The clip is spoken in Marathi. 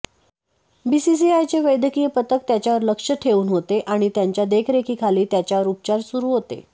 बीसीसीआयचे वैद्यकीय पथक त्याच्यावर लक्ष ठेऊन होते आणि त्यांच्या देखरेखीखाली त्याच्यावर उपचार सुरू होते